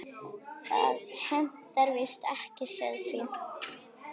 Það hentar víst ekki sauðfé.